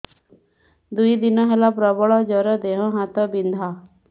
ଦୁଇ ଦିନ ହେଲା ପ୍ରବଳ ଜର ଦେହ ହାତ ବିନ୍ଧା